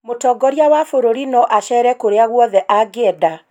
mũtongoria wa bururi no acere kũrĩa guothe angienda.